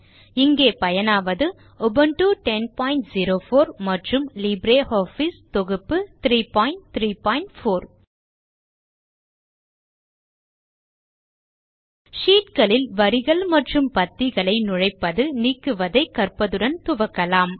இங்கே பயனாவது உபுன்டு 1004 மற்றும் லிப்ரியாஃபிஸ் தொகுப்பு 334 sheetகளில் வரிகள் மற்றும் பத்திகளை நுழைப்பது நீக்குவதை கற்பதுடன் துவக்கலாம்